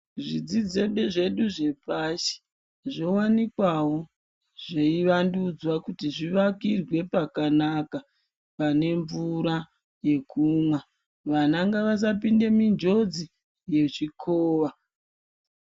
Zvidzidzo zvedu zvepashi zvowanikwawo zveivandudzwa kuti zvivakirwe pakanaka, pane mvura yekumwa. Vana ngavasapinde munjodzi yechikova.